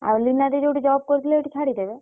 ଆଉ ଲିନା ଦେଇ ଯୋଉଠି job କରୁଥିଲେ ସେଇଠୁ ଛାଡିଦେବେ?